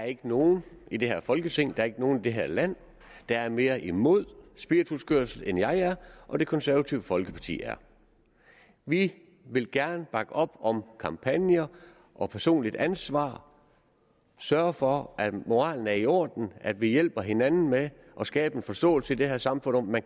er nogen i det her folketing der ikke er nogen i det her land der er mere imod spirituskørsel end jeg og det konservative folkeparti er vi vil gerne bakke op om kampagner og personligt ansvar sørge for at moralen er i orden at vi hjælper hinanden med at skabe en forståelse i det her samfund om at